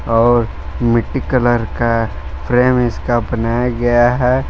और मिट्टी कलर का फ्रेम इसका बनाया गया है।